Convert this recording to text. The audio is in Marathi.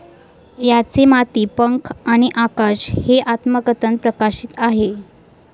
यांचे माती, पंख आणि आकाश हे आत्मकथन प्रकाशित आहे.